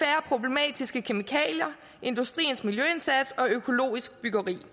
i kemikalier industriens miljøindsats og økologisk byggeri